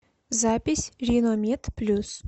запись риномед плюс